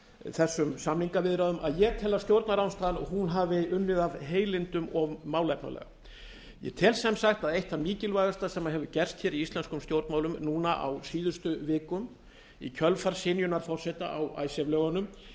þessum samningaviðræðum að ég tel að stjórnarandstaðan hafi unnið af heilindum og málefnalega ég tel sem sagt að eitt það mikilvægasta sem hefur gerst í íslenskum stjórnmálum á síðustu vikum í kjölfar synjunar forseta á icesave lögunum